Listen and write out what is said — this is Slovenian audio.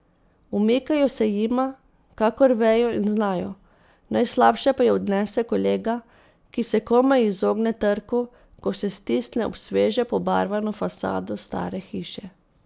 Umikajo se jima, kakor vejo in znajo, najslabše pa jo odnese kolega, ki se komaj izogne trku, ko se stisne ob sveže pobarvano fasado stare hiše.